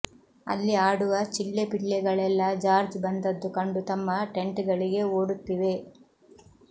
ಅಲ್ಲಿ ಆಡುವ ಚಿಳ್ಳೆಪಿಳ್ಳೆಗಳೆಲ್ಲಾ ಜಾರ್ಜ್ ಬಂದದ್ದು ಕಂಡು ತಮ್ಮ ಟೆಂಟ್ ಗಳಿಗೆ ಓಡುತ್ತಿವೆ